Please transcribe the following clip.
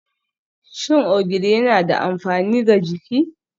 Shin Ogiri yana da amfani ga jiki?